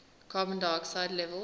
carbon dioxide levels